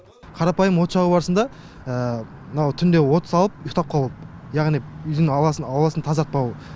қарапайым от жағу барысында мынау түнде от салып ұйықтап қалып яғни үйдің ауасын тазартпау